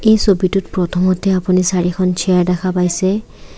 এই ছবিটোত প্ৰথমতে আপুনি চাৰিখন চেয়াৰ দেখা পাইছে।